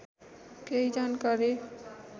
केही जानकारी